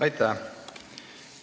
Aitäh!